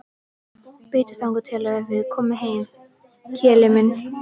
Bíddu þangað til við komum heim, kelli mín.